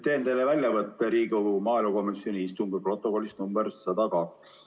Teen teile väljavõtte Riigikogu maaelukomisjoni istungi protokollist nr 102.